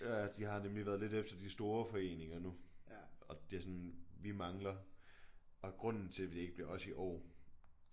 Ja de har nemlig været lidt efter de store foreninger nu og de er sådan vi mangler og grunden til det ikke blev os i år